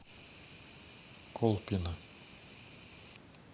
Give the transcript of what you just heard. колпино